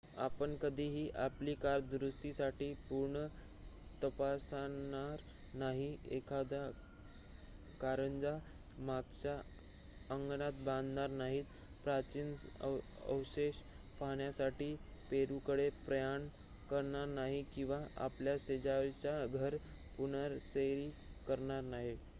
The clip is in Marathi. आपण कधीही आपली कार दुरुस्तीसाठी पूर्ण तपासणार नाही एखादा कारंजा मागच्या अंगणात बांधणार नाही प्राचीन अवशेष पाहण्यासाठी पेरुकडे प्रयाण करणार नाही किवा आपल्या शेजाऱ्याचे घर पुनरारेखीत करणार नाही